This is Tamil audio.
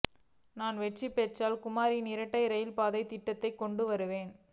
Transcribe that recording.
நான் வெற்றி பெற்றால் குமரியில் இரட்டை ரயில் பாதை திட்டத்தை கொண்டு வருவேன்